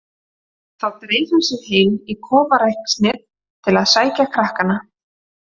Þá dreif hann sig heim í kofaræksnið til að sækja krakkana.